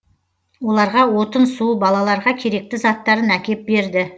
оларға отын су балаларға керекті заттарын әкеп берді